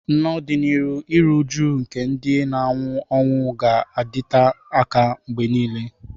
N'ọdịnihu, iru újú nke ndị na-anwụ anwụ ga-adịte aka mgbe nile.